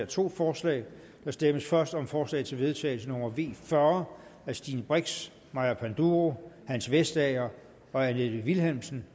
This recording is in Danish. to forslag der stemmes først om forslag til vedtagelse nummer v fyrre af stine brix maja panduro hans vestager og annette vilhelmsen